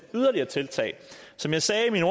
yderligere tiltag som jeg sagde i min